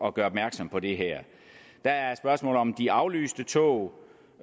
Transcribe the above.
at gøre opmærksom på det her der er spørgsmålet om de aflyste tog